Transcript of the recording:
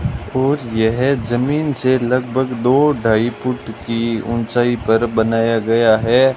और यह जमीन से लगभग दो ढाई फुट की ऊंचाई पर बनाया गया है।